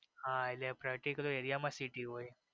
હા એટલે practical area માં city હોઈ.